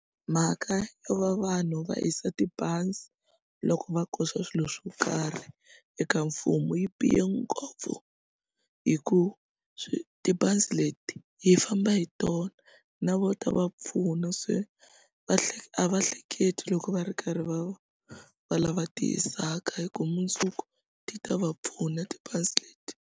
Mhaka yo va vanhu va hisa tibazi loko va koxa swilo swo karhi eka mfumo yi bihe ngopfu hikuva tibazi leti hi famba hi tona na vo ta va pfuna se va a va hleketi loko va ri karhi va va lava ti hisaka hikuva mundzuku ti ta va pfuna tibazi leti.